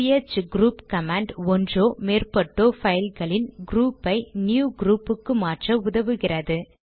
CH group command ஒன்றோ மேற்பட்டோ பைல்களின் க்ரூப்பை ந்யூ க்ரூப்புக்கு மாற்ற உதவுகிறது